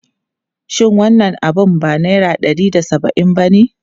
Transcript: Shin wannan abu ba naira ɗari da saba'in bane?